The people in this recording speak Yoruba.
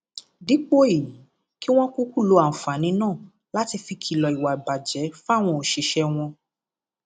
dípò èyí kí wọn kúkú lo àǹfààní náà láti fi kìlọ ìwà ìbàjẹ fáwọn òṣìṣẹ wọn